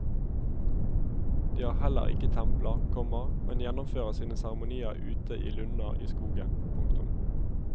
De har heller ikke templer, komma men gjennomfører sine seremonier ute i lunder i skogen. punktum